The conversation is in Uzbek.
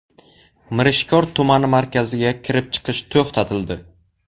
Mirishkor tumani markaziga kirib-chiqish to‘xtatildi.